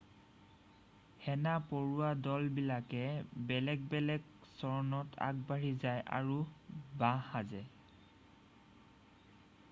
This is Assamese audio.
সেনা পৰুৱা দল বিলাকে বেলেগ বেলেগ চৰণত আগবাঢ়ি যায় আৰু বাঁহ সাজে